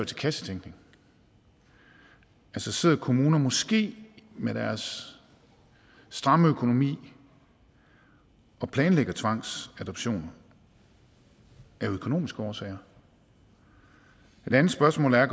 til kassetænkning sidder kommuner måske med deres stramme økonomi og planlægger tvangsadoption af økonomiske årsager et andet spørgsmål er